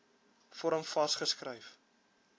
vorm vas geskryf